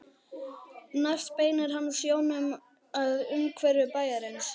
Næst beinir hann sjónum að umhverfi bæjarins.